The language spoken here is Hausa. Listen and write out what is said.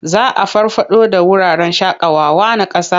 Za a farfaɗo da wuraren shaƙawawa na ƙasa.